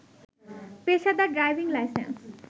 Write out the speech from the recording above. পেশাদার driving licence